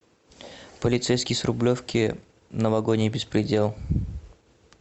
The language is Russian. полицейский с рублевки новогодний беспредел